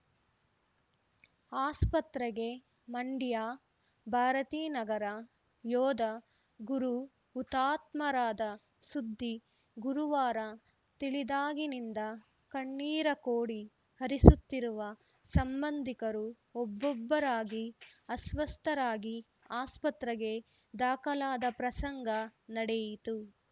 ಆಸ್ಪತ್ರೆಗೆ ಮಂಡ್ಯಭಾರತೀನಗರ ಯೋಧ ಗುರು ಹುತಾತ್ಮರಾದ ಸುದ್ದಿ ಗುರುವಾರ ತಿಳಿದಾಗಿನಿಂದ ಕಣ್ಣೀರ ಕೋಡಿ ಹರಿಸುತ್ತಿರುವ ಸಂಬಂಧಿಕರು ಒಬ್ಬೊಬ್ಬರಾಗಿ ಅಸ್ವಸ್ಥರಾಗಿ ಆಸ್ಪತ್ರೆಗೆ ದಾಖಲಾದ ಪ್ರಸಂಗ ನಡೆಯಿತು